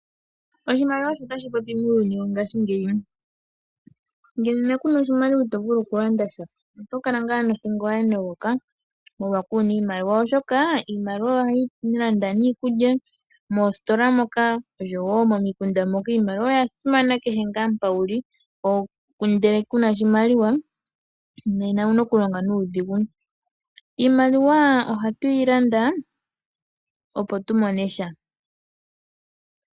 Oshimaliwa osho tashi popi muuyuni wongashingeyi, ngele kuna oshimaliwa ito vulu okulanda sha. Oto kala wala nothingo ya nogoka molwashoka kuna iimaliwa, oshoka iimaliwa ohayi landa iikulya moositola osho wo momikunda moka. Iimaliwa oya simana kehe nga mpoka uli, ngele kuna oshimaliwa nena owuna oku longa nuudhigu. Iiimaliwa ohatu yi longitha oku landa opo tumone sha.